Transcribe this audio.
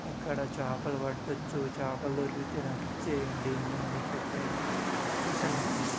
ఇక్కడ చేపలు పట్టచ్చు చేపలు దొరికితే నాకు ఇచ్చేయండి నేను ఎప్పుడైనా మీకు రిటర్న్ పంపిస్తా